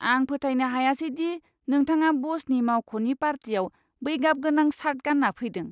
आं फोथायनो हायासै दि नोंथाङा ब'सनि मावख'नि पार्टियाव बै गाबगोनां शार्ट गानना फैदों!